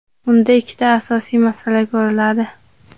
unda ikkita asosiy masala ko‘riladi.